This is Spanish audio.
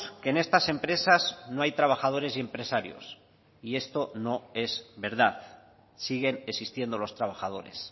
que en estas empresas no hay trabajadores y empresarios y esto no es verdad siguen existiendo los trabajadores